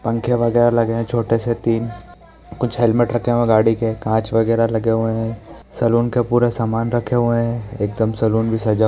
पंखे वगेरा लगे हैं छोटे से तीन | कुछ हेलमेट रखे हुए हैं गाड़ी के | काँच वगेरा लगे हुए हैं| सैलून का पूरा सामान रखे हुए हैं एकदम सैलून जैसा --